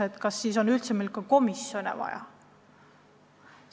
Kas meil siis on üldse komisjone vaja?